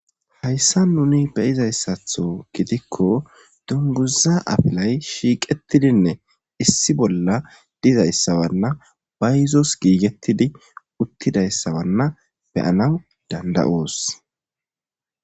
Hayssan nuni be'izayssatho gideika dungguza afilay shjqettidinne issi bolla dizayssanne bayzos gigetiddi uttidayssa be'anas dandda'os.